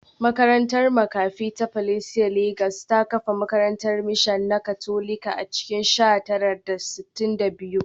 Makarantar makafi ta Pacelli Legas ta kafa makarantar mishan na Katolika a cikin sha tara da sittin da biyu